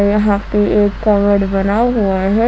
यहां पे एक कबर्ड बना हुआ है।